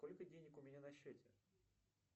сколько денег у меня на счете